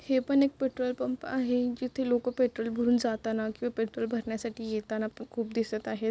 हे पण एक पेट्रोल पंप आहे जिथे लोकं पेट्रोल भरून जाताना किंवा पेट्रोल भरण्यासाठी येताना पण खूप दिसत आहेत.